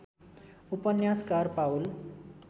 उपन्यासकार पाउल